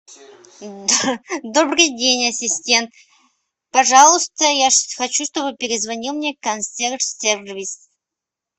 добрый день ассистент пожалуйста я хочу чтобы перезвонил мне консьерж сервис